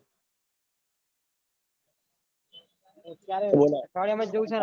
માં જ જાઉં છે ને આપડે